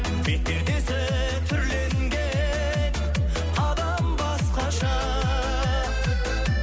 бет пердесі түрленген адам басқаша